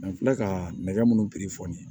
An filɛ ka nɛgɛ munnu